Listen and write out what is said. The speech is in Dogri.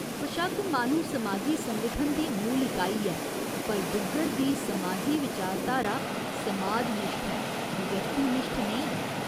बशक्क माह्‌नू समाजी संगठन दी मूल इकाई ऐ पर डुग्गर दी समाजी विचारधारा समाजनिश्ठ ऐ, व्यक्तिनिश्ठ नेईं।